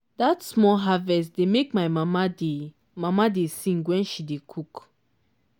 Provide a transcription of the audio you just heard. that small harvest dey make my mama dey mama dey sing when she dey cook.